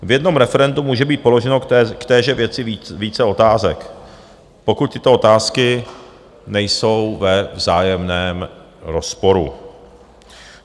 V jednom referendu může být položeno k téže věci více otázek, pokud tyto otázky nejsou ve vzájemném rozporu.